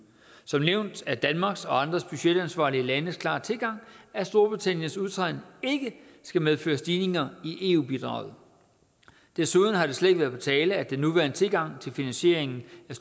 som nævnt er danmarks og andre budgetansvarlige landes klare tilgang at storbritanniens udtræden ikke skal medføre stigninger i eu bidraget desuden har det slet ikke været på tale at den nuværende tilgang til finansieringen